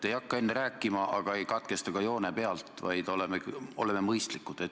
Te ei hakka enne rääkima, aga ei katkesta ka joone pealt, vaid oleme mõistlikud.